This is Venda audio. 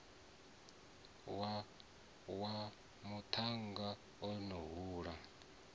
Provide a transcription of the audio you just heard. wa muṱhannga o no hula